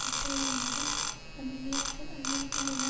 வெட்டுவதன் மூலம் அந்த நேரத்தில் அமெரிக்க எண்ணெய்